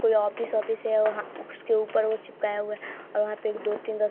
कोई office office है और वहां उसके ऊपर वो चिपकाया हुआ है और वहां पे एक दो तीन रस्स --